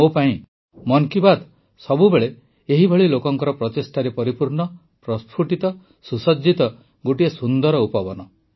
ମୋ ପାଇଁ ମନ୍ କି ବାତ୍ ସବୁବେଳେ ଏଭଳି ଲୋକଙ୍କ ପ୍ରଚେଷ୍ଟାରେ ପରିପୂର୍ଣ୍ଣ ପ୍ରସ୍ଫୁଟିତ ସୁସଜ୍ଜିତ ଗୋଟିଏ ସୁନ୍ଦର ଉପବନ